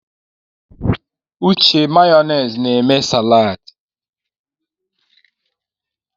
Uche Mayonezi na eme saladị.